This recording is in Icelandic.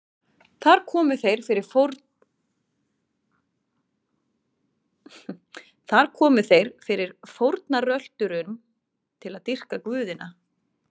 Þar komu þeir fyrir fórnarölturum til að dýrka guðina.